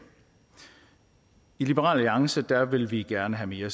i liberal alliance vil vi gerne have mere